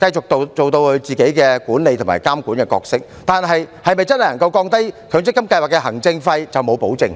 繼續扮演自己管理和監管的角色，但對於是否真正能夠降低強積金計劃的行政費，卻沒有任何保證。